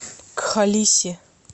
кхалиси